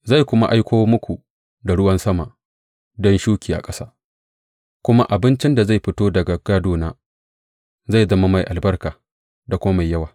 Zai kuma aiko muku da ruwan sama don shuki a ƙasa, kuma abincin da zai fito daga gona zai zama mai albarka da kuma mai yawa.